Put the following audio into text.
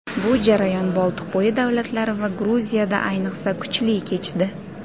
Bu jarayon Boltiqbo‘yi davlatlari va Gruziyada ayniqsa kuchli kechdi.